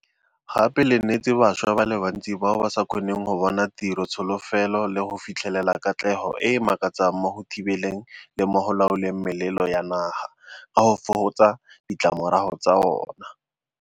Gape le neetse bašwa ba le bantsi bao ba sa kgoneng go bona tiro tsholofelo le go fitlhelela katlego e e makatsang mo go thibeleng le mo go laoleng melelo ya naga, ka go fokotsa ditlamorago tsa ona.